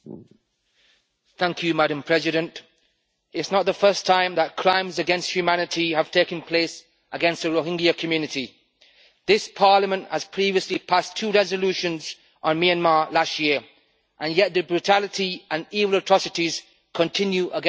Madam President, it is not the first time that crimes against humanity have taken place against the Rohingya community. This Parliament has previously passed two resolutions on Myanmar last year, and yet the brutality and even atrocities continue against the Rohingya Muslims.